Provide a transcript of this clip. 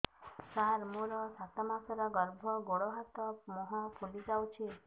ସାର ମୋର ସାତ ମାସର ଗର୍ଭ ଗୋଡ଼ ହାତ ମୁହଁ ଫୁଲି ଯାଉଛି